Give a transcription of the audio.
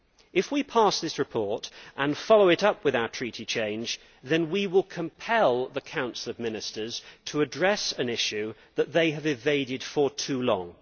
If we pass this report and follow it up with our treaty change, then we will compel the Council of Ministers to address an issue that it has evaded for too long.